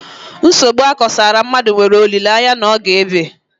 Nsogbu akosara mmadụ nwere olileanya n'oge ébé